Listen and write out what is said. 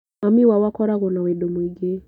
Mami wao akoragwo na wendo mũingĩ